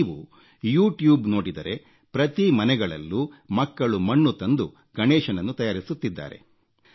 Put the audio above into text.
ನೀವು ಯುಟ್ಯೂಬ್ ನೋಡಿದರೆ ಪ್ರತಿ ಮನೆಗಳಲ್ಲೂ ಮಕ್ಕಳು ಮಣ್ಣು ತಂದು ಗಣೇಶನನ್ನು ತಯಾರಿಸುತ್ತಿದ್ದಾರೆ